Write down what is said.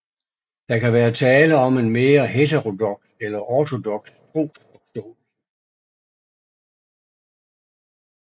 Der kan være tale om en mere heterodoks eller ortodoks trosforståelse